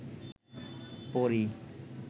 পড়ি